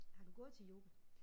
Har du gået til yoga?